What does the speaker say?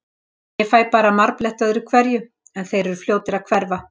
Ég fæ bara marbletti öðru hverju, en þeir eru fljótir að hverfa.